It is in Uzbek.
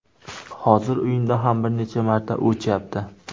Hozir uyimda ham bir necha marta o‘chyapti”.